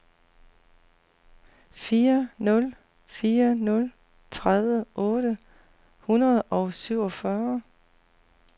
fire nul fire nul tredive otte hundrede og syvogfyrre